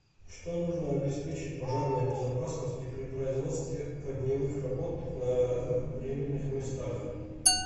что нужно обеспечить пожарной безопасности при производстве огневых работ на временных местах